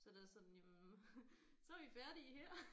Så det er sådan jamen så er vi færdige her